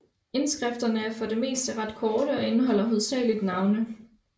Indskrifterne er for det meste ret korte og indeholder hovedsageligt navne